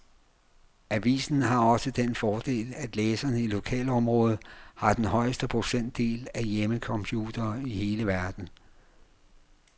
Avisen har også den fordel, at læserne i lokalområdet har den højeste procentdel af hjemmecomputere i hele verden.